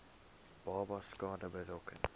babas skade berokken